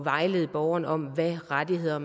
vejlede borgerne om hvilke rettigheder